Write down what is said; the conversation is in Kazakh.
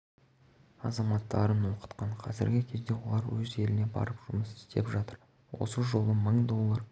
азаматтарын оқытқан қазіргі кезде олар өз еліне барып жұмыс істеп жатыр осы жолы мың доллар